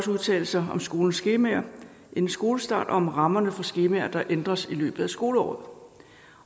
udtale sig om skolens skemaer inden skolestart og om rammerne for skemaer der ændres i løbet af skoleåret